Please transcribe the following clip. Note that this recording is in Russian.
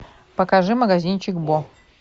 покажи магазинчик бо